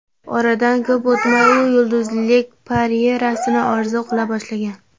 Oradan ko‘p o‘tmay u yulduzlik karyerasini orzu qila boshlagan.